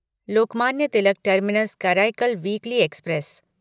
Lokmanya Tilak terminus Karaikal weekly express